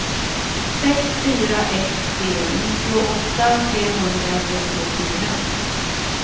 sex fyra ett tre nittioåtta trehundratrettiofyra